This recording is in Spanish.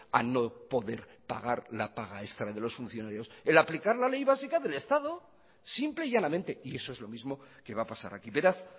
a no poder pagar la paga extra de los funcionarios el aplicar la ley básica del estado simple y llanamente y eso es lo mismo que va a pasar aquí beraz